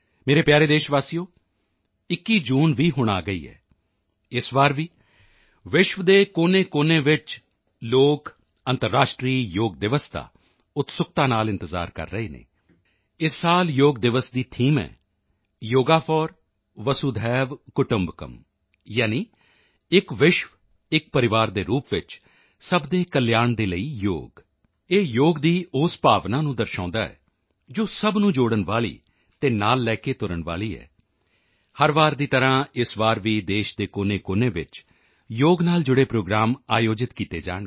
ਮੇਰੇ ਪਿਆਰੇ ਦੇਸ਼ਵਾਸੀਓ 21 ਜੂਨ ਵੀ ਹੁਣ ਆ ਹੀ ਗਈ ਹੈ ਇਸ ਵਾਰ ਵੀ ਵਿਸ਼ਵ ਦੇ ਕੋਨੇਕੋਨੇ ਚ ਲੋਕ ਅੰਤਰਰਾਸ਼ਟਰੀ ਯੋਗ ਦਿਵਸ ਦਾ ਉਤਸੁਕਤਾ ਨਾਲ ਇੰਤਜ਼ਾਰ ਕਰ ਰਹੇ ਹਨ ਇਸ ਸਾਲ ਯੋਗ ਦਿਵਸ ਦੀ ਥੀਮ ਹੈ ਯੋਗਾ ਫੋਰ ਵਸੁਧੈਵ ਕੁਟੁੰਬਕਮ ਯਾਨੀ ਇੱਕ ਵਿਸ਼ਵ ਇੱਕ ਪਰਿਵਾਰ ਦੇ ਰੂਪ ਵਿੱਚ ਸਭ ਦੇ ਕਲਿਆਣ ਦੇ ਲਈ ਯੋਗ ਇਹ ਯੋਗ ਦੀ ਉਸ ਭਾਵਨਾ ਨੂੰ ਦਰਸਾਉਂਦਾ ਹੈ ਜੋ ਸਭ ਨੂੰ ਜੋੜਨ ਵਾਲੀ ਅਤੇ ਨਾਲ ਲੈ ਕੇ ਤੁਰਨ ਵਾਲੀ ਹੈ ਹਰ ਵਾਰ ਦੀ ਤਰ੍ਹਾਂ ਇਸ ਵਾਰ ਵੀ ਦੇਸ਼ ਦੇ ਕੋਨੇਕੋਨੇ ਵਿੱਚ ਯੋਗ ਨਾਲ ਜੁੜੇ ਪ੍ਰੋਗਰਾਮ ਆਯੋਜਿਤ ਕੀਤੇ ਜਾਣਗੇ